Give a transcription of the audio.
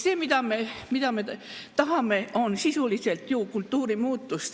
See, mida me tahame, on sisuliselt ju kultuurimuutus.